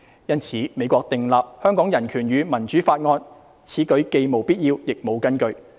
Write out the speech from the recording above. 因此，美國訂立《香港人權與民主法案》，此舉既無必要亦無根據。